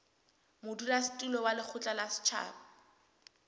modulasetulo wa lekgotla la setjhaba